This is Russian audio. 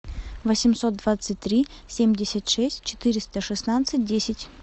восемьсот двадцать три семьдесят шесть четыреста шестнадцать десять